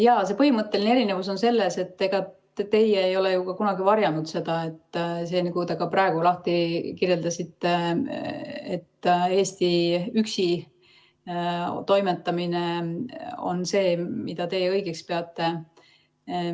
Jaa, see põhimõtteline erinevus on selles, et ega teie ei ole ju kunagi varjanud seda, nagu te ka praegu kirjeldasite, et Eesti üksi toimetamine on see, mida teie õigeks peate.